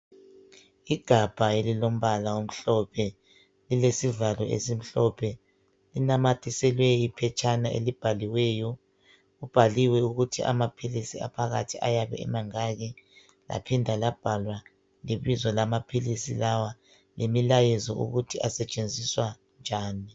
Igabha elilombala omhlophe, lilesivalo esimhlophe linamathiselwe iphetshana elibhaliweyo. Kubhaliwe ukuthi amaphilisi aphakathi ayabe emangaki, laphinda labhalwa lebizo lamaphilisi lawa lemilayezo ukuthi asetshenziswa njani.